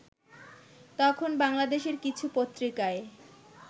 তখন বাংলাদেশের কিছু পত্রিকায়